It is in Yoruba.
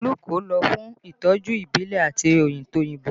Olú kò lọ fún ìtọ́jú ìbílẹ̀ àti tòyìnbó